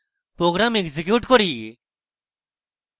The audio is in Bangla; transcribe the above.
program execute করি